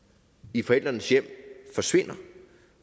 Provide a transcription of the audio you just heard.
i forældrenes hjem forsvinder